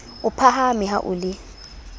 o phaphame ha o le